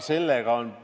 See on hea küsimus.